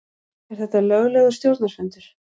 Er þetta löglegur stjórnarfundur?